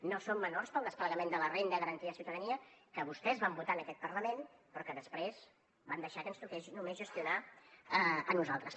no són menors per al desplegament de la renda garantida de ciutadania que vostès van votar en aquest parlament però que després van deixar que ens toqués només gestionar a nosaltres